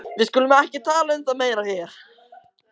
Við skulum ekki tala um það meira hér.